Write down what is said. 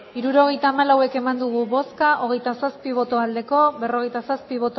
hirurogeita hamalau eman dugu bozka hogeita zazpi bai berrogeita zazpi